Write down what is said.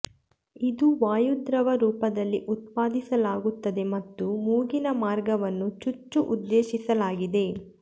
ಇದು ವಾಯುದ್ರವ ರೂಪದಲ್ಲಿ ಉತ್ಪಾದಿಸಲಾಗುತ್ತದೆ ಮತ್ತು ಮೂಗಿನ ಮಾರ್ಗವನ್ನು ಚುಚ್ಚು ಉದ್ದೇಶಿಸಲಾಗಿದೆ